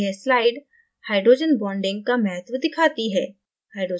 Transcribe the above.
यह slide hydrogen bonding का महत्व दिखाती है